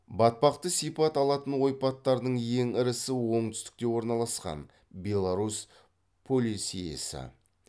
батпақты сипат алатын ойпаттардың ең ірісі оңтүстікте орналасқан беларусь полесьесі